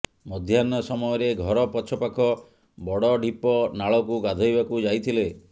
ମଧ୍ୟାହ୍ନ ସମୟରେ ଘର ପଛ ପାଖ ବଡ଼ଢିପ ନାଳକୁ ଗାଧୋଇବାକୁ ଯାଇଥିଲେ